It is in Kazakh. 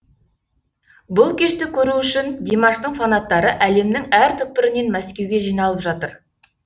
бұл кешті көру үшін димаштың фанаттары әлемнің әр түкпірінен мәскеуге жиналып жатыр